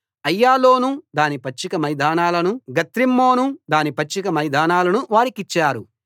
అయ్యాలోను దాని పచ్చిక మైదానాలనూ గత్రిమ్మోను దాని పచ్చిక మైదానాలనూ వారికిచ్చారు